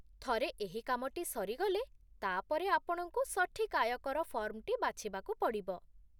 ଥରେ ଏହି କାମଟି ସରିଗଲେ, ତା'ପରେ ଆପଣଙ୍କୁ ସଠିକ୍ ଆୟକର ଫର୍ମଟି ବାଛିବାକୁ ପଡ଼ିବ